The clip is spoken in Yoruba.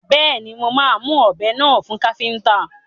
Bẹ́ẹ̀ni, mo máa mu ọ̀bẹ náà fún káfíntà.